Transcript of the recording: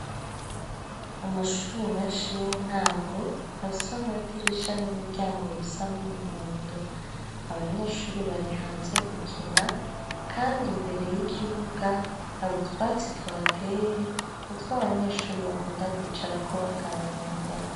Amashure menshi y'intango afise amadirisha n'imiryango bisa n'umuhondo. Abanyeshure bari hanze gukina kandi imbere y'ikibuga hari utwatsi tuhateye, n'itwo abanyeshure bakunda kwicarako baganira.